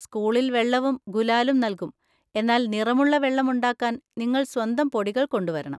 സ്കൂളിൽ വെള്ളവും ഗുലാലും നൽകും, എന്നാൽ നിറമുള്ള വെള്ളം ഉണ്ടാക്കാൻ നിങ്ങൾ സ്വന്തം പൊടികൾ കൊണ്ടുവരണം.